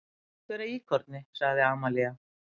Pant vera íkorni, sagði Amalía.